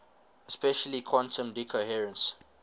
especially quantum decoherence